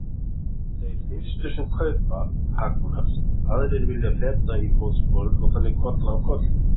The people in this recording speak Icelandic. Þeir fyrstu sem kaupa hagnast, aðrir vilja feta í fótsporin og þannig koll af kolli.